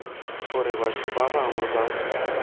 gore batho ba bangwe ba